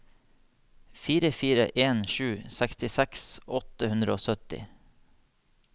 fire fire en sju sekstiseks åtte hundre og sytti